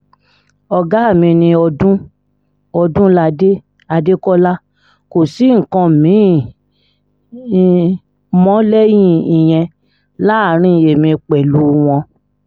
ọ̀gá mi ni ọdúnládé ọdúnládé adékọlá kò sí nǹkan mi-ín mọ́ lẹ́yìn ìyẹn láàrin èmi pẹ̀lú wọn